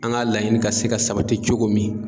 An ka laɲini ka se ka sabati cogo min.